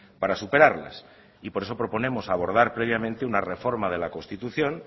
para superarlas y por eso proponemos abordar previamente una reforma de la constitución